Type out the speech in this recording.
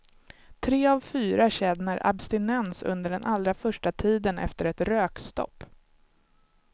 Tre av fyra känner abstinens under den allra första tiden efter ett rökstopp.